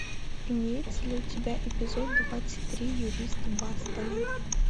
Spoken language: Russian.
имеется ли у тебя эпизод двадцать три юристы бостона